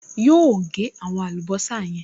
Yóò gẹ́ àwọn àlùbọ́sà yẹn